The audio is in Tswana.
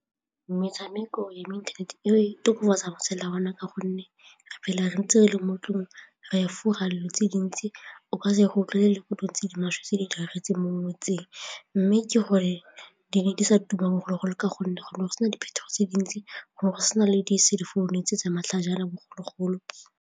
Metshameko ya mo internet-eng e tokofatsa matshelo a rona ka gonne fela re ntse re le mo ntlong re efoga dilo tse dintsi o ka se gotlhelele ko di tse di maswe tse di diragetseng mo motseng mme ke gore di ne di sa tuma bogologolo ka gonne go ne go sena diphetogo tse dintsi gore go se na le di-cell founu tsa matlhajana bogologolo.